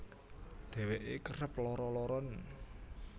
Dheweke kerep lara laranen